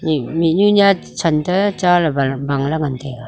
minu nya chen ta cha lapta buta ngan taiga